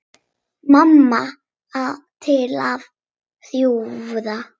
Mamma til að hjúfra.